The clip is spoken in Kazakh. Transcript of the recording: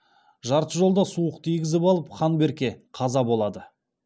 жарты жолда суық тигізіп алып хан берке қаза болады